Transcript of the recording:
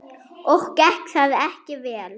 Og gekk það ekki vel.